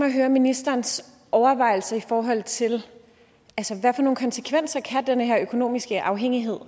at høre ministerens overvejelser i forhold til hvad for nogle konsekvenser den her økonomiske afhængighed